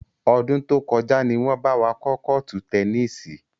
Ọdún tó kọjá ni wọn bá wa kọ́ kọ́ọ́tù tẹnísì.